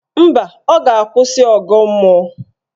Mba, ọ ga-akwụsị ọgọ mmụọ